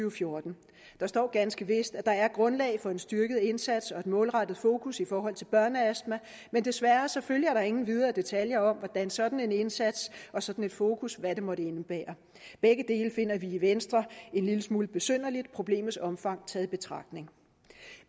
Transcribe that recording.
og fjorten der står ganske vist at der er grundlag for en styrket indsats og et målrettet fokus i forhold til børneastma men desværre er der ingen videre detaljer om hvad sådan en indsats og sådan et fokus måtte indebære begge dele finder vi i venstre en lille smule besynderligt problemets omfang taget i betragtning